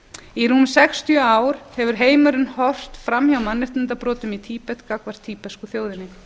í rúm sextíu ár hefur heimurinn horft fram hjá mannréttindabrotum í tíbet gagnvart tíbesku þjóðinni